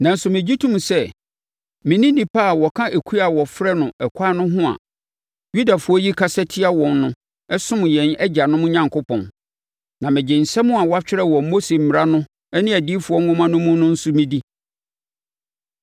Nanso, megye tom sɛ me ne nnipa a wɔka ekuo a wɔfrɛ no Ɛkwan no ho a Yudafoɔ yi kasa tia wɔn no som yɛn Agyanom Onyankopɔn. Na megye nsɛm a wɔatwerɛ wɔ Mose mmara no ne adiyifoɔ nwoma no mu no nso medi.